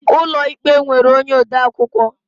Ụlọ ikpe nwere onye odeakwụkwọ